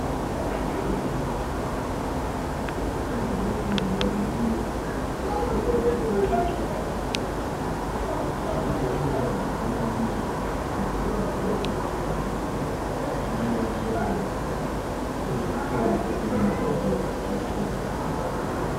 lokhu okulapha esindebeleni bakubiza ukuthi lu cucuza ucucza abanye batsheba ngawo uyisitshebo esimnandi ucucuza